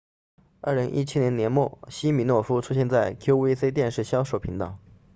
2017年年末西米诺夫出现在 qvc 电视销售频道